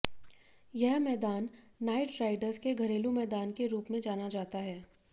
यह मैदान Knight Riders के घरेलू मैदान के रूप में जाना जाता है